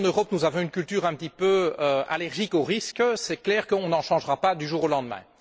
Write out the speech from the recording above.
Si, en Europe, nous avons une culture un petit peu allergique au risque, c'est clair qu'on n'en changera pas du jour au lendemain.